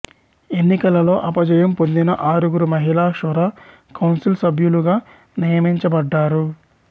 ఎన్నికలలో అపజయం పొందిన ఆరుగురు మహిళలు షురా కౌంసిల్ సభ్యులుగా నియమించబడ్డారు